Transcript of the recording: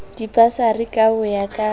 dibasari ka ho ya ka